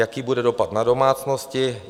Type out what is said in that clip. Jaký bude dopad na domácnosti?